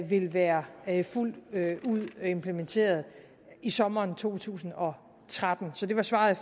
vil være være fuldt ud implementeret i sommeren to tusind og tretten så det var svaret